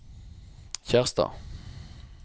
Kjerstad